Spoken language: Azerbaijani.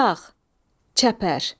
Çağ, çəpər.